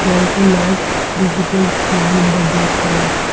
There's a large digital screen in the background.